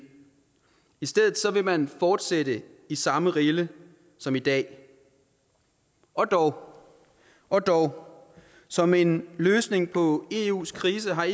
i stedet vil man fortsætte i samme rille som i dag og dog og dog som en løsning på eus krise har